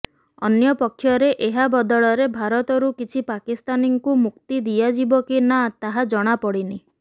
ଅନ୍ୟ ପକ୍ଷରେ ଏହା ବଦଳରେ ଭାରତରୁ କିଛି ପାକିସ୍ତାନୀଙ୍କୁ ମୁକ୍ତି ଦିଆଯିବ କି ନା ତାହା ଜଣାପଡ଼ିନି